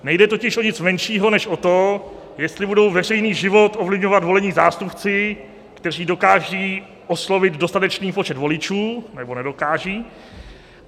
Nejde totiž o nic menšího než o to, jestli budou veřejný život ovlivňovat volení zástupci, kteří dokážou oslovit dostatečný počet voličů, nebo nedokážou.